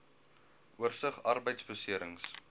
oorsig arbeidbeserings